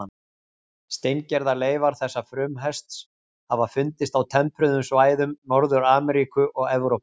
Steingerðar leifar þessa frumhests hafa fundist á tempruðum svæðum Norður-Ameríku og Evrópu.